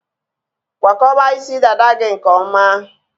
Kwakọba isi dada gị nke ọma.